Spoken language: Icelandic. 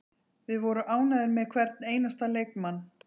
Við vorum ánægðir með hvern einasta leikmann.